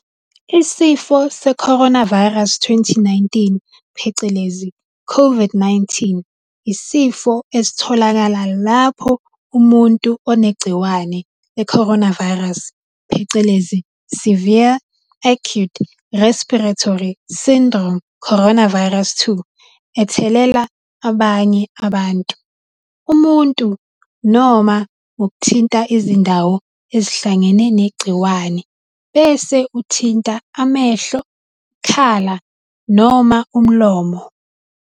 Isifo seCoronavirus 2019 phecelezi COVID-19, yisifo esitholakala lapho umuntu onegciwane le-coronavirus phecelezi Severe Acute Respiratory Syndrome Coronavirus 2, ethelela abanye abantu. Umuntu, noma ngokuthinta izindawo ezihlangene negciwane bese uthinta amehlo, ikhala noma umlomo.